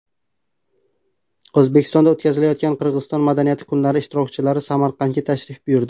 O‘zbekistonda o‘tkazilayotgan Qirg‘iziston madaniyati kunlari ishtirokchilari Samarqandga tashrif buyurdi.